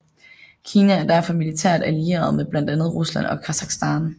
Kina er derfor militært allieret med blandt andet Rusland og Kasakhstan